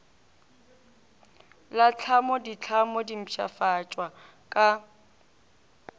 la tlhamoditlhamo di mpshafatšwa ka